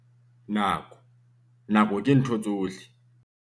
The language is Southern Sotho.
Nako - nako ke ntho tsohle.